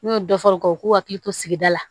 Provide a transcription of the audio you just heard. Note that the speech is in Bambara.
N'u ye dɔ fɔ u ka u k'u hakili to sigida la